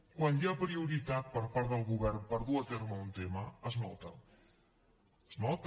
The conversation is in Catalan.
quan hi ha prioritat per part del govern per dur a terme un tema es nota es nota